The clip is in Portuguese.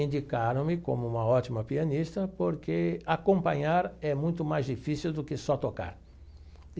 Indicaram-me como uma ótima pianista porque acompanhar é muito mais difícil do que só tocar.